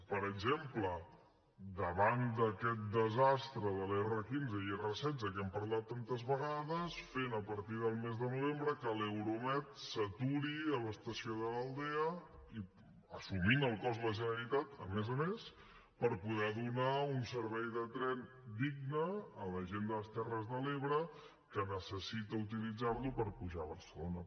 per exemple davant d’aquest desastre de l’r15 i l’r16 de què hem parlat tantes vegades fent a partir del mes de novembre que l’euromed s’aturi a l’estació de l’aldea assumint ne el cost la generalitat a més a més per poder donar un servei de tren digne a la gent de les terres de l’ebre que necessita utilitzar lo per pujar a barcelona